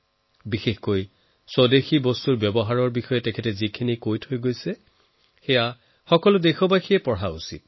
বিশেষকৈ স্বদেশী ব্যৱহাৰক লৈ তেওঁ যি কৈছে সেয়া আজি প্ৰত্যেক দেশবাসীয়ে পঢ়া উচিত